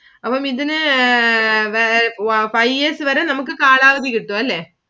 അപ്പം ഇതിനു five years വരെ നമുക്ക് കാലാവധി കിട്ടും അല്ലെ.